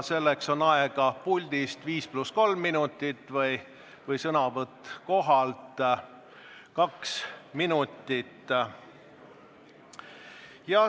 Selleks on aega puldis viis pluss kolm minutit, sõnavõtuks kohalt kaks minutit.